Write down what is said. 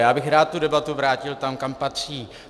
Já bych rád tu debatu vrátil tam, kam patří.